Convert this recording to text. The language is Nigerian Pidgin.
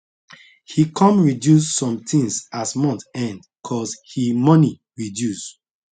he come reduce some things as month end cause he money reduce